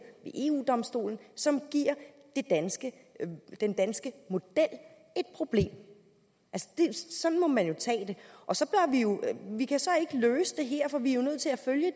ved eu domstolen og som giver den danske model et problem altså sådan må man jo tage vi kan så ikke løse det her for vi er jo nødt til at følge